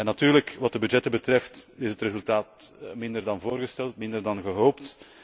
Natuurlijk wat de budgetten betreft, is het resultaat minder dan voorgesteld, minder dan gehoopt.